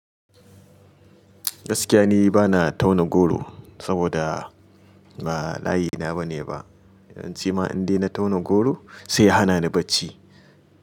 Gaskiya ni bana tauna goro saboda ba layina bane ba. Idan cima in dena tauna goro sai ya hana ni barci.